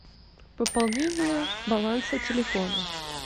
пополнение баланса телефона